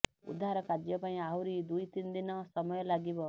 ଉଦ୍ଧାର କାର୍ଯ୍ୟ ପାଇଁ ଆହୁରି ଦୁଇ ତିନି ଦିନ ସମୟ ଲାଗିବ